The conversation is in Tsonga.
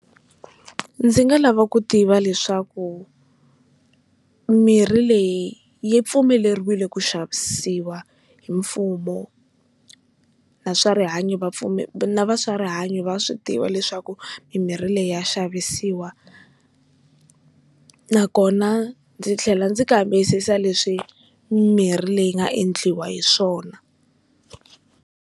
Ndzi nga lava ku tiva leswaku mirhi leyi yi pfumeleriwile ku xavisiwa hi mfumo, na swa rihanyo vapfumeri na va swa rihanyo va swi tiva leswaku mimirhi leyi ya xavisiwa nakona ndzi tlhela ndzi kambisisa leswi mimirhi leyi yi nga endliwa hiswona.